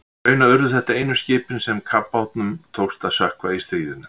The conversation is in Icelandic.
Raunar urðu þetta einu skipin sem kafbátnum tókst að sökkva í stríðinu.